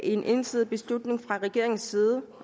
en ensidig beslutning fra regeringens side